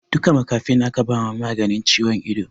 Duka makafin aka ba ma maganin ciwon ido